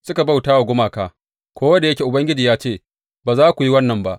Suka bauta wa gumaka, ko da yake Ubangiji ya ce, Ba za ku yi wannan ba.